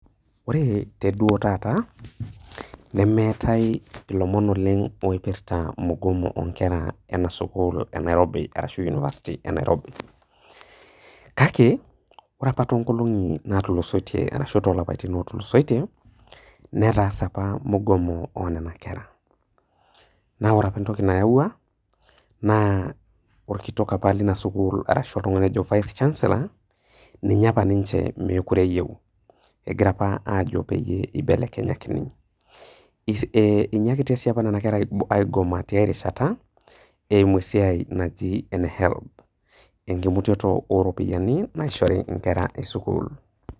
Ore te duo taata nemetai lomon oipirta mugomo oonkera enasukil e Nairobi, ashu university of nairobi kake ore apa tonkolongi natulusoitie ashu tolapaitin otulosoitie netaase apa mugomo oonona kera na ore apa entoki nayawua na orkitok apa lina sukul ashu Vice chancellor ninye apa ninche mekute eyieu, egira apa nche peibelekenyakini, inyiakitaboshi nona kera aigoma tiarishata eimu esiai naji ene helb emutoto oropiyiani naishori nkera esukul.